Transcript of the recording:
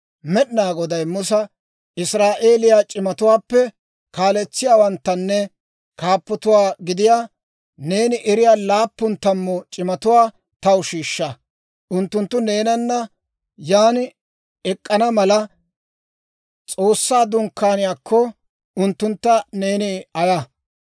Med'inaa Goday Musa, «Israa'eeliyaa c'imatuwaappe kaaletsiyaawanttanne kaappatuwaa gidiyaa, neeni eriyaa laappun tammu c'imatuwaa taw shiishsha; unttunttu neenana yan ek'k'ana mala, S'oossaa Dunkkaaniyaakko, unttuntta neeni ayaa.